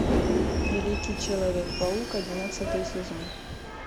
великий человек паук одиннадцатый сезон